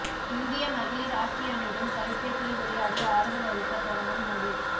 இந்திய மகளிர் ஆக்கி அணியிடம் தொலைப்பேசியில் உரையாடி ஆறுதல் அளித்த பிரதமர் மோடி